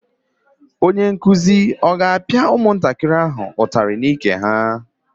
Onye nkuzi ọ ga-apịa ụmụntakịrị ahụ ụtarị n'ike ha?